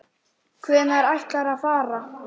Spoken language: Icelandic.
Hvenær ætlarðu að fara?